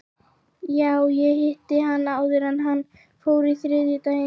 Já, ég hitti hann áður en hann fór á þriðjudaginn.